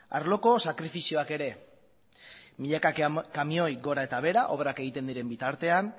arloko sakrifizioak ere milaka kamioi gora eta behera obrak egiten diren bitartean